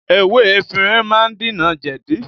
Ewé efinrin má ń dènà jẹ̀di